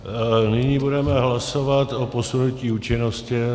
Nyní budeme hlasovat o posunutí účinnosti.